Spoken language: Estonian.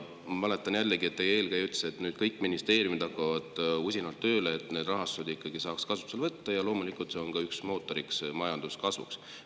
Ma mäletan jällegi, et teie eelkäija ütles, et kõik ministeeriumid hakkavad usinalt tööle, et selle raha saaks ikkagi kasutusele võtta, ja loomulikult on see ka üks majanduskasvu mootor.